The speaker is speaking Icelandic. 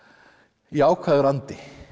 jákvæður andi